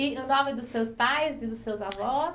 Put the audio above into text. E o nome dos seus pais e dos seus avós?